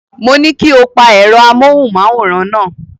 Mo ní kí o pa ẹ̀rọ amóhùnmáwòrán náà.